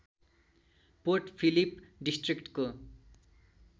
port Phillip डिस्ट्रिक्टको